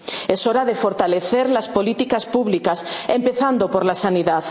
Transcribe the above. adelante. Es hora de fortalecer las políticas públicas, empezando por